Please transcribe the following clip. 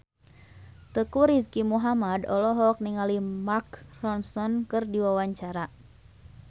Teuku Rizky Muhammad olohok ningali Mark Ronson keur diwawancara